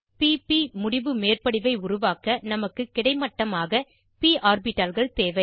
p p முடிவு மேற்படிவை உருவாக்க நமக்கு கிடைமட்டமாக ப் ஆர்பிட்டால்கள் தேவை